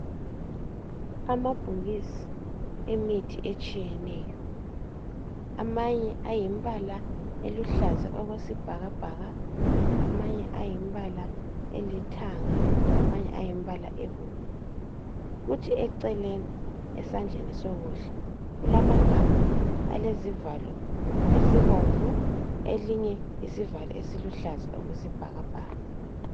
Amabhokisi emithi etshiyeneyo amanye ayimbala eluhlaza okwesibhakabhaka, amanye ayimbala elithanga, amanye ayimbala ebomvu. Kuthi eceleni esandleni sokudla kulamagabha alezivalo esibomvu linye isivalo esiluhlaza okwesibhakabhaka.